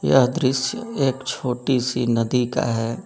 यह दृश्य एक छोटी सी नदी का है।